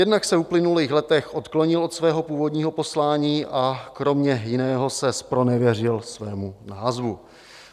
Jednak se v uplynulých letech odklonil od svého původního poslání a kromě jiného se zpronevěřil svému názvu.